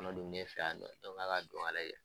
Kɔnɔ dun be ne fɛ yan nɔ, ne ko nga ka don ka lajɛ.